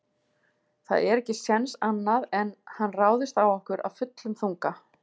Það er ekki séns annað en hann ráðist á okkur af fullum þunga.